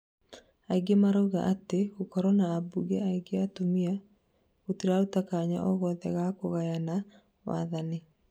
aingĩ marauga atĩ, gũkorwo na ambunge aingĩ atumia, gũtiraruta kanya ogothe ga kuganyana wathani